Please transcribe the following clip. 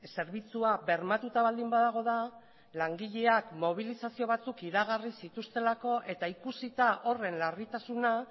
zerbitzua bermatuta baldin badago da langileak mobilizazio batzuk iragarri zituztelako eta ikusita horren larritasuna